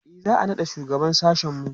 e za'a naɗa shugaban sashen mu